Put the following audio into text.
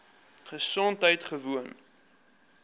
gesondheidgewoon